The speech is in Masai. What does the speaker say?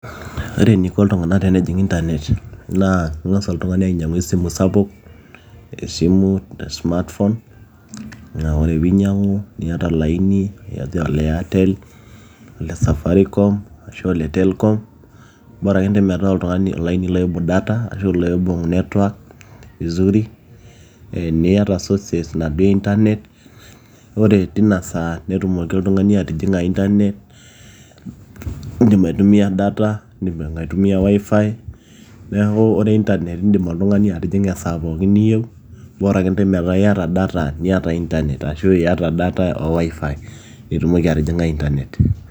ore eniko iltung'anak tenejing internet naa ing'as oltung'ani ainyiang'u esimu sapuk esimu e smartphone naa ore piinyiang'u niata olaini laijo ole airtel, ole safaricom arashu ole telkom bora akentay metaa olaini loibung data ashu loibung network vizuri niyata sources naduo e internet ore tinasaa netumoki oltung'ani atijing'a internet indim aitumia data indim aitumia wifi neeku ore internet naa indim oltung'ani atijing'a esaa pookin niyieu bora akentay metaa iyata data niata internet ashu iyata data o wifi nitumoki atijing'a internet.